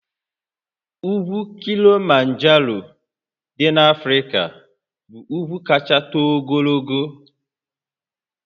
Ugwu Kilimanjaro dị n'Africa bụ ugwu kacha too ogologo